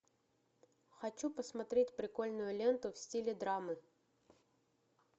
хочу посмотреть прикольную ленту в стиле драмы